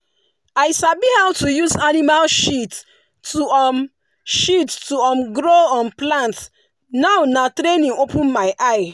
i sabi how to use animal shit to um shit to um grow um plant now na training open my eye.